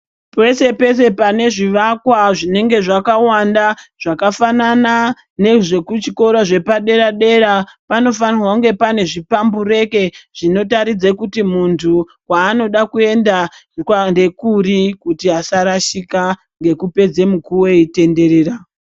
Peshe peshe pane zvivakwa zvinenge zvakawanda zvakafanana nezvekuchikora zvepadera dera panofanirwa kunge pane zvipambureke zvinotaridza kuti muntu kwaanode kuenda ndekuri kuti asarashike ngekupedze mukuwo eitenderera.